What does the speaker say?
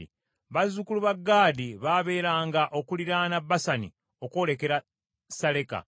Bazzukulu ba Gaadi baabeeranga okuliraana Basani okwolekera Saleka.